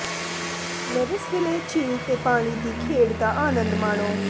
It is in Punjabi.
ਲੇਵਿਸਵਿਲੇ ਝੀਲ ਤੇ ਪਾਣੀ ਦੀ ਖੇਡ ਦਾ ਆਨੰਦ ਮਾਣੋ